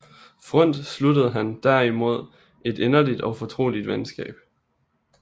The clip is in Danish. Freund sluttede han derimod et inderligt og fortroligt venskab